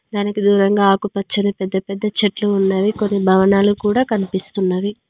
దానికి దూరంగా ఆకు పచ్చని పెద్ద పెద్ద చెట్లు ఉన్నవి కొన్ని భవనాలు కూడా కనిపిస్తున్నవి.